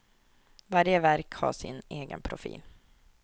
Varje verk har sin egen profil.